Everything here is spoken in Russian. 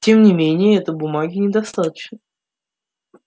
тем не менее этой бумаги недостаточно